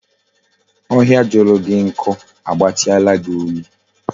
Ohia juru gi nku a gbatiala gi olu